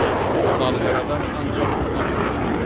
Və malqaradan ancaq bir atı vardı.